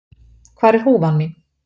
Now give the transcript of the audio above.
Hvar er húfan mín?